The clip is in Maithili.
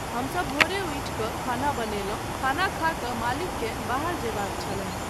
हमसब भोरे उठि कऽ खाना बनौलहुँ, खाना खा कऽ मालिककेँ बाहर जयबाक छलनि।